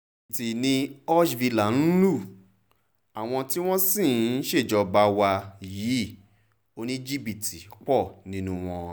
jìbìtì ni húshhvilă ń lu àwọn tí wọ́n sì ń ṣèjọba wa yìí oníjìbìtì pọ̀ nínú wọn